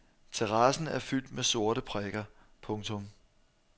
Terrassen er fyldt med sorte prikker. punktum